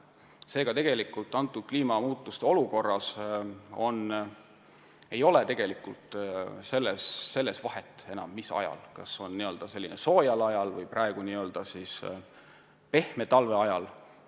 Seega, tegelikult ei ole kliimamuutuste olukorras enam vahet, mis ajal raiutakse – kas n-ö sellisel soojal ajal või praeguse pehme talve ajal.